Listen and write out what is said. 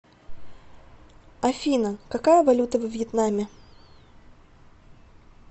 афина какая валюта во вьетнаме